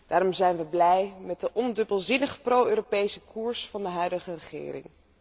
Daarom zijn we blij met de ondubbelzinnig pro Europese koers van de huidige regering.